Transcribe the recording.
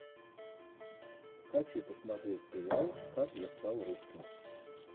хочу посмотреть сериал как я стал русским